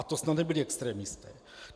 A to snad nebyli extremisté.